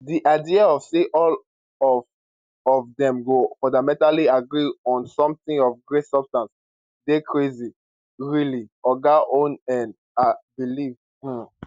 di idea of say all of of dem go fundamentally agree on something of great substance dey crazy really oga oneill believe um